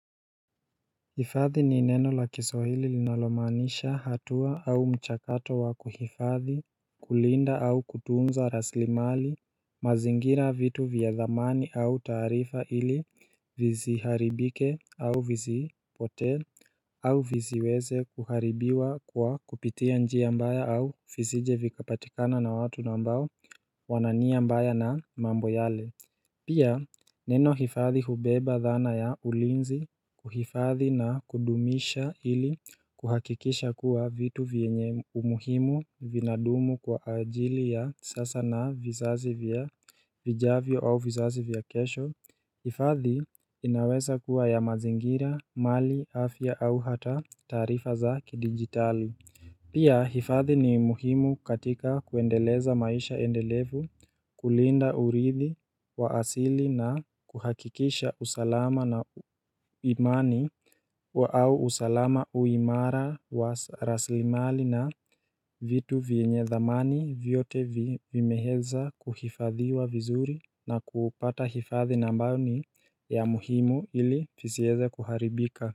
Hifadhi ni neno la kiswahili linalomaanisha hatua au mchakato wa kuhifadhi, kulinda au kutunza rasilimali, mazingira vitu vya dhamani au taarifa ili visiharibike au visipotee au visiweze kuharibiwa kwa kupitia njia mbaya au visije vikapatikana na watu ambao wana nia mbaya na mambo yale. Pia neno hifadhi hubeba dhana ya ulinzi kuhifadhi na kudumisha ili kuhakikisha kuwa vitu vyenye umuhimu vinadumu kwa ajili ya sasa na vizazi vya vijavyo au vizazi vya kesho hifadhi inaweza kuwa ya mazingira, mali, afya au hata taarifa za kidigitali Pia hifadhi ni muhimu katika kuendeleza maisha endelevu kulinda uridhi wa asili na kuhakikisha usalama na imani wa au usalama huu imara wa rasilimali na vitu vyenye dhamani vyote vimeeza kuhifadhiwa vizuri na kupata hifadhi ambayo ni ya muhimu ili visieze kuharibika.